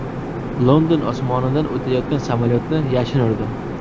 London osmonidan o‘tayotgan samolyotni yashin urdi .